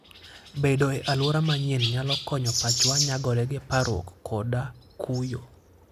Bedo e alwora manyien nyalo konyo pachwa nyagore gi parruok koda kuyo.